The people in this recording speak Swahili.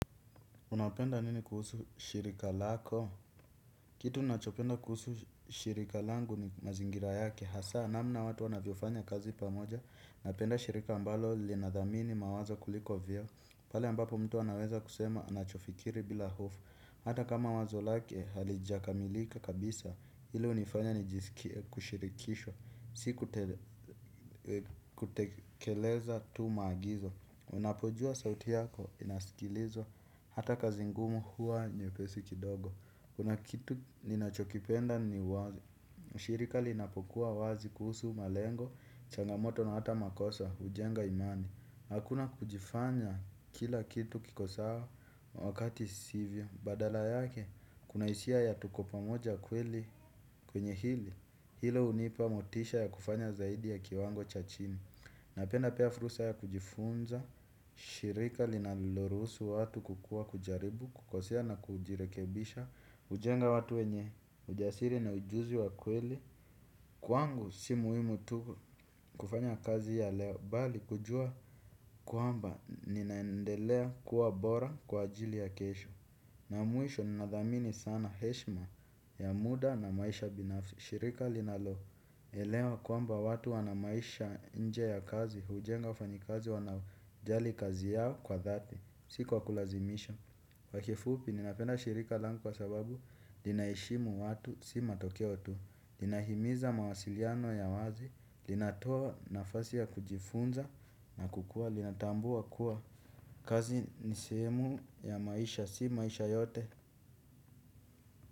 Unapenda nini kuhusu shirika lako? Kitu ninachopenda kuhusu shirika langu ni mazingira yake. Hasa namna watu wanavyo fanya kazi pamoja, napenda shirika ambalo linadhamini mawazo kuliko vyeo. Pale ambapo mtu anaweza kusema anachofikiri bila hofu. Hata kama wazo lake, halijakamilika kabisa. Ile hunifanya ni kushirikishwa. Siku tekeleza tu maagizo. Unapojua sauti yako, inaskilizwa. Hata kazi ngumu huwa nyepesi kidogo. Kuna kitu ninachokipenda ni wazi. Shirika linapokuwa wazi kuhusu malengo, changamoto na hata makosa, hujenga imani. Hakuna kujifanya kila kitu kikosawa wakati sivyo. Badala yake, kuna hisia ya tuko pamoja kwenye hili. Hilo hunipa motisha ya kufanya zaidi ya kiwango cha chini. Napenda pia fursa ya kujifunza, shirika linaloruhusu watu kukua kujaribu, kukosea na kujirekebisha, hujenga watu wenye ujasiri na ujuzi wa kweli. Kwangu si muhimu tu kufanya kazi ya leo, bali kujua kwamba ninaendelea kuwa bora kwa ajili ya kesho. Na mwisho ninadhamini sana heshima ya muda na maisha binafisi. Shirika linalo elewa kwamba watu wanamaisha nje ya kazi. Hujenga wafanyikazi wanao jali kazi yao kwa dhati. Si kwa kulazimisha kwa kifupi ninapenda shirika langu kwa sababu linaheshimu watu si matokeo tu. Linahimiza mawasiliano ya wazi. Linatoa nafasi ya kujifunza na kukua. Linatambua kuwa kazi nisehemu ya maisha si maisha yote.